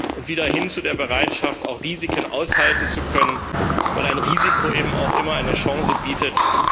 Wir sollten wieder hin zu der Bereitschaft kommen, auch Risiken aushalten zu können, weil ein Risiko eben auch immer eine Chance bietet.